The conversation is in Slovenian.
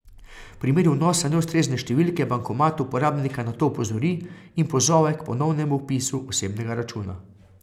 V primeru vnosa neustrezne številke bankomat uporabnika na to opozori in pozove k ponovnem vpisu osebnega računa.